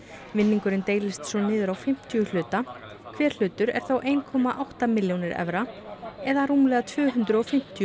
vinningurinn deilist svo niður á fimmtíu hluta hver hlutur er þá eitt komma átta milljónir evra eða rúmlega tvö hundruð og fimmtíu